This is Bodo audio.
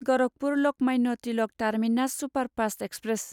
Gorakhpur Lokmanya Tilak terminus superfast express